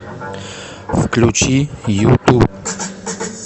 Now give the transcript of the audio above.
включи юту